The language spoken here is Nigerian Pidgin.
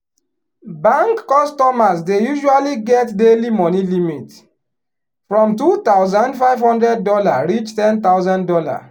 bank customers dey usually get daily money limit from two thousand five hundred dollar reach ten thousand dollar.